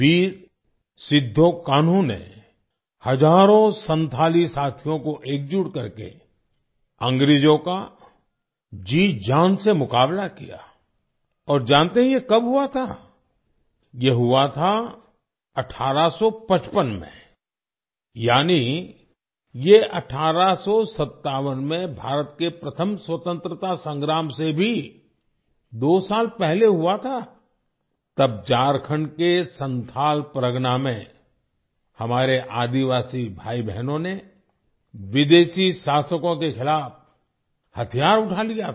वीर सिद्धो कान्हू ने हजारों संथाली साथियों को एकजुट करके अंग्रेजों का जी जान से मुकाबला किया और जानते हैं ये कब हुआ था ये हुआ था 1855 में यानी ये 1857 में भारत के प्रथम स्वतंत्रता संग्राम से भी दो साल पहले हुआ था तब झारखंड के संथाल परगना में हमारे आदिवासी भाई बहनों ने विदेशी शासकों के खिलाफ हथियार उठा लिया था